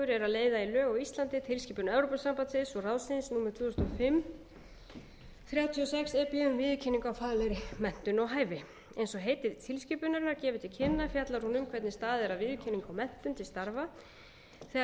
þrjátíu og sex e b um viðurkenningu á faglegri menntun og hæfi eins og heiti tilskipunarinnar gefur til kynna fjallar hún um hvernig staðið er að viðurkenningu á menntun til starfa þegar